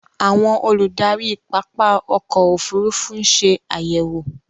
Àwọn olùdarí pápá ọkò òfurufú ń ṣe àyẹ̀wò.